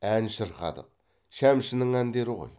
ән шырқадық шәмшінің әндері ғой